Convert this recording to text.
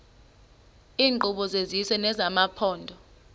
iinkqubo zesizwe nezamaphondo